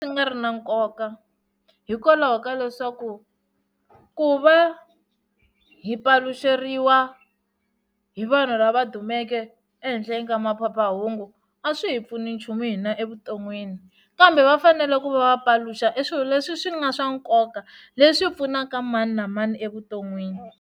Swi nga ri na nkoka hikwalaho ka leswaku ku va hi paluxeriwa hi vanhu lava dumeke ehenhleni ka maphephahungu a swi hi pfuni nchumu hina evuton'wini kambe va fanele ku va va paluxa eswilo leswi swi nga swa nkoka leswi pfunaka mani na mani evuton'wini.